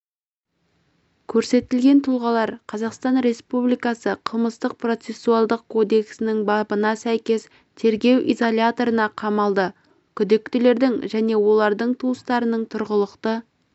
көрсетілген тұлғалар қазақстан республикасы қылмыстық-процессуалдық кодексінің бабына сәйкес тергеу изоляторына қамалды күдіктілердің және олардың туыстарының тұрғылықты